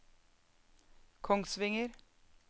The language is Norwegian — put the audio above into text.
Kongsvinger